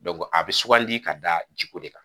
a bɛ suganli ka da jiko de kan.